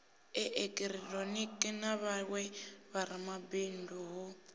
eekihironiki na vhawe vharamabindu hu